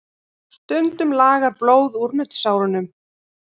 Stundum lagar blóð úr nuddsárunum.